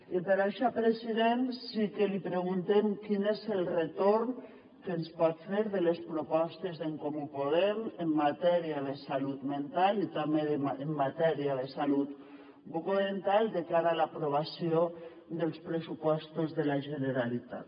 i per això president sí que li preguntem quin és el retorn que ens pot fer de les propostes d’en comú podem en matèria de salut mental i també en matèria de salut bucodental de cara a l’aprovació dels pressupostos de la generalitat